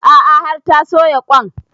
A'a har ta soya ƙwain